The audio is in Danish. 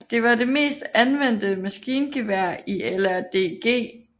Det var det mest anvendte maskingevær i LRDG